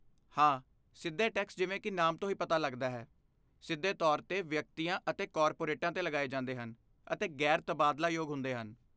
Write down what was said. ਹਾਂ, ਸਿੱਧੇ ਟੈਕਸ ਜਿਵੇਂ ਕਿ ਨਾਮ ਤੋਂ ਹੀ ਪਤਾ ਲੱਗਦਾ ਹੈ, ਸਿੱਧੇ ਤੌਰ 'ਤੇ ਵਿਅਕਤੀਆਂ ਅਤੇ ਕਾਰਪੋਰੇਟਾਂ 'ਤੇ ਲਗਾਏ ਜਾਂਦੇ ਹਨ ਅਤੇ ਗੈਰ ਤਬਾਦਲਾਯੋਗ ਹੁੰਦੇ ਹਨ।